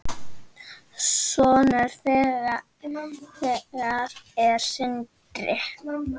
Sonur þeirra er Sindri.